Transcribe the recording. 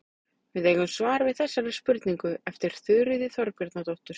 Við eigum svar við þessari spurningu eftir Þuríði Þorbjarnardóttur.